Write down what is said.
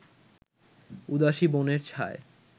উদাসি বনের ছায়